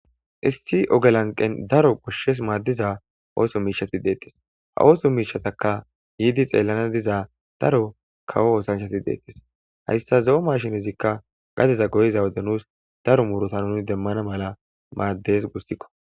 Isti ogelanqen daro koshshes maaddiza ooso miishati deetis ha ooso miishataka yiidi xeellana diza daro kawo oosanchati deettis hayssa zo7o mashinizikka gadeza goyiza wode nuus daro murota nun demmana mala maaddes gussikko.